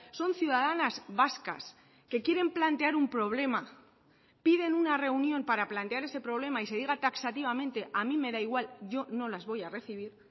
son ciudadanas vascas que quieren plantear un problema piden una reunión para plantear ese problema y se diga taxativamente a mí me da igual yo no las voy a recibir